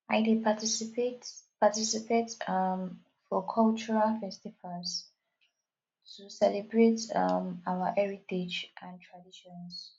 i dey participate participate um for cultural festivals to celebrate um our heritage and traditions